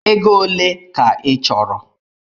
Ego ole ka ị chọrọ?